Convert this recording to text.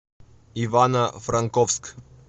ивано франковск